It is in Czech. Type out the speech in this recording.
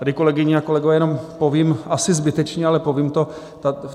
Tady, kolegyně a kolegové, jenom povím, asi zbytečně, ale povím to.